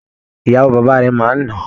Ìyàwó bàbá rẹ́ máa ń nà án.